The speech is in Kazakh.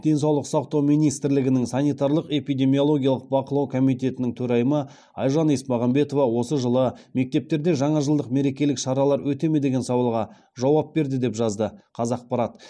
денсаулық сақтау министрлігінің санитарлық эпидемиологиялық бақылау комитетінің төрайымы айжан есмағамбетова осы жылы мектептерде жаңажылдық мерекелік шаралар өте ме деген сауалға жауап берді деп жазды қазақпарат